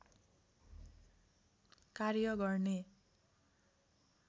कार्य गर्ने